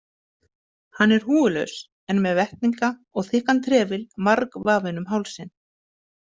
Hann er húfulaus en með vettlinga og þykkan trefil margvafinn um hálsinn.